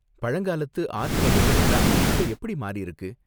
பழங்காலத்து ஆர்ட் வகைகள் எல்லாம் இப்ப எப்படி மாறிருக்கு?